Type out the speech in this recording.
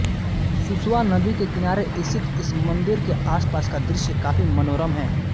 सुसवा नदी के किनारे स्थित इस मंदिर के आसपास का दृश्य काफी मनोरम है